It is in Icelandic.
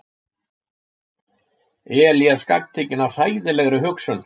Elías gagntekinn af hræðilegri hugsun.